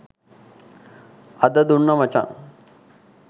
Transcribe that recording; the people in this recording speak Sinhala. අද දුන්නා මචං.